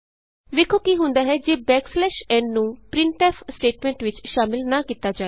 ਵੇਖੋ ਕੀ ਹੁੰਦਾ ਹੈ ਜੇ n ਨੂੰ ਪ੍ਰਿੰਟਫ ਸਟੇਟਮੈਂਟ ਵਿਚ ਸ਼ਾਮਲ ਨਾ ਕੀਤਾ ਜਾਏ